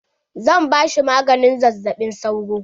Zan ba shi maganin zazzaɓin sauro.